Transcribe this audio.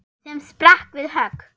sem sprakk við högg.